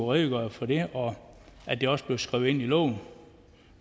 redegøre for det og at det også blev skrevet ind i loven